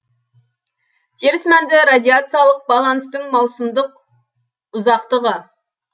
теріс мәнді радиациялық баланстың маусымдық ұзақтығы